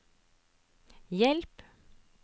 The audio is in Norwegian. hjelp